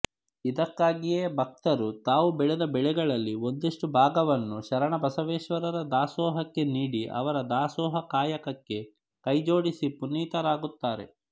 ಇದ್ದಕ್ಕಾಗಿಯೇ ಬಕ್ತರು ತಾವು ಬೆಳೆದ ಬೆಳೆಗಳಲ್ಲಿ ಒಂದಿಶ್ಟು ಬಾಗವನ್ನು ಶರಣಬಸವೇಶ್ವರರ ದಾಸೋಹಕ್ಕೆ ನೀಡಿ ಅವರ ದಾಸೋಹ ಕಾಯಕಕ್ಕೆ ಕೈಜೋಡಿಸಿ ಪುನೀತರಾಗುತ್ತಾರೆ